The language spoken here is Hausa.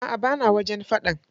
Aa bana wajen faɗan.